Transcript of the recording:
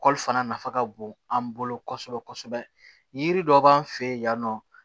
kɔli fana nafa ka bon an bolo kosɛbɛ kosɛbɛ yiri dɔ b'an fɛ yen yan nɔ